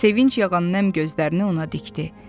Sevinc yağan enli gözlərini ona dikdi.